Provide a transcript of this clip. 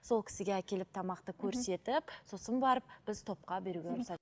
сол кісіге әкеліп тамақты көрсетіп сосын барып біз топқа беруге рұқсат